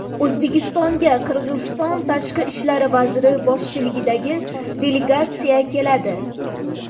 O‘zbekistonga Qirg‘iziston Tashqi ishlar vaziri boshchiligidagi delegatsiya keladi.